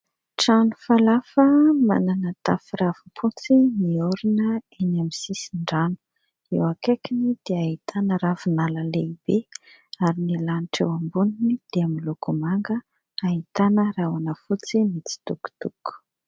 Trano falafa : manana tafo ravimpotsy niorina eny sisin-drano, eo akaikiny dia ahitana ravinala lehibe ary ny lanitra eo amboniny dia miloko manga, ahitana rahona fotsy mitsitokotoko.